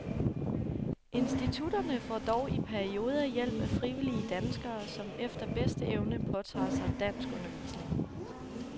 Institutterne får dog i perioder hjælp af frivillige danskere, som efter bedste evne påtager sig danskundervisning.